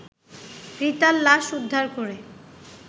রিতার লাশ উদ্ধার করে